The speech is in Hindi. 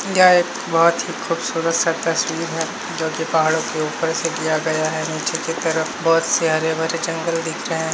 यह एक बहुत ही खुबसुरत सा तस्वीर है जोकि पहाड़ों के ऊपर से लिया गया है नीचे के तरफ बहुत से हरे भरे जंगल दिख रहे हैं।